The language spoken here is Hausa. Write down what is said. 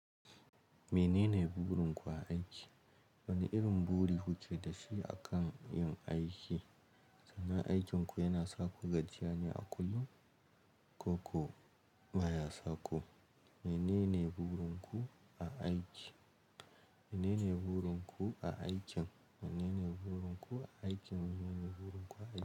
Menene burin ku a aiki? Wane irin buri kuke da shi a kan yin aiki? Aikinku yana saku gajiyane a kullum ko kuwa baya saku. Menene burin ku a aikin? Menene burin ku a aikin? Menene burin ku a aikin? Menene burin ku a aiki?